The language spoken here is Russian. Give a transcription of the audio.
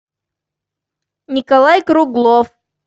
николай круглов